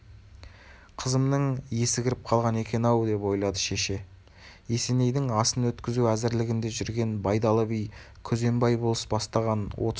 қызымның есі кіріп қалған екен-ау деп ойлады шеше есенейдің асын өткізу әзірлігінде жүрген байдалы би күзембай болыс бастаған отыз шақты